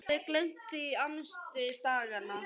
Eða hafði gleymt því í amstri daganna.